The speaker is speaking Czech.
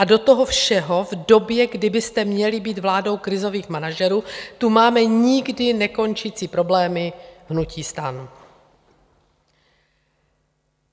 A do toho všeho v době, kdy byste měli být vládou krizových manažerů, tu máme nikdy nekončící problémy hnutí STAN.